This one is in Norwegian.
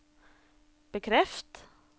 bekreft